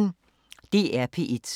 DR P1